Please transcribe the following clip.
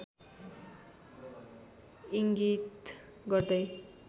इङ्गित गर्दै